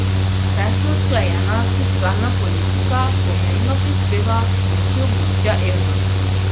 Tesno usklajena fiskalna politika pomembno prispeva k moči območja evra.